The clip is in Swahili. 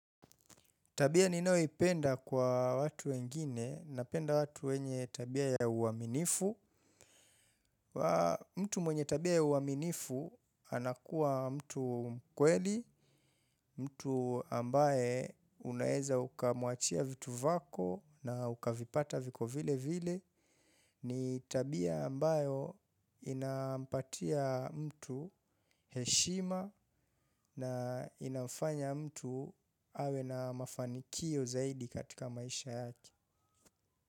Tabia ninayoipenda kwa watu wengine napenda watu wenye tabia ya uaminifu. Mtu mwenye tabia ya uaminifu anakuwa mtu mkweli, mtu ambaye unaeza ukamuachia vitu vyako na ukavipata viko vile vile. Ni tabia ambayo inapatia mtu heshima na inafanya mtu awe na mafanikio zaidi katika maisha yake.